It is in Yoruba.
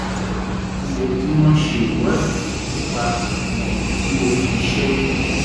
ó yẹ kí wọ́n ṣe ìwádìí nípa ìdí tí o fi ṣẹ́yún